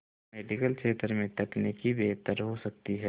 medical क्षेत्र में तकनीक बेहतर हो सकती है